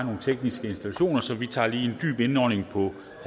nogle tekniske installationer så vi tager lige en dyb indånding på